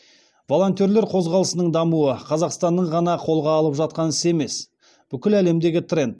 волонтерлер қозғалысының дамуы қазақстанның ғана қолға алып жатқан ісі емес бүкіл әлемдегі тренд